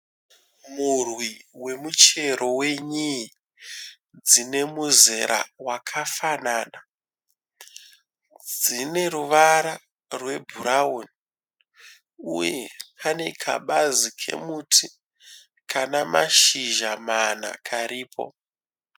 Murwi wemuchero wenyii dzine muzera wakafanana. Dzine ruvara rwebhurawuni uye pane kabazi kemuti kana mashizha mana karipo.